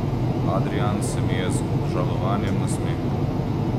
Adrijan se mi je z obžalovanjem nasmehnil.